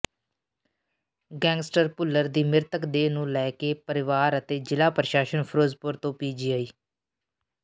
gangster Bhullar ਦੀ ਮ੍ਰਿਤਕ ਦੇਹ ਨੂੰ ਲੈ ਕੇ ਪਰਿਵਾਰ ਅਤੇ ਜ਼ਿਲ੍ਹਾ ਪ੍ਰਸ਼ਾਸਨ ਫਿਰੋਜ਼ਪੁਰ ਤੋਂ ਪੀਜਆਈ